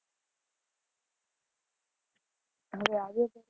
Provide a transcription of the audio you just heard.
હવે આવે છે?